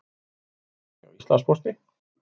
Hagnaður hjá Íslandspósti